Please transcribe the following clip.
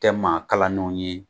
Tɛ ma kalannenw ye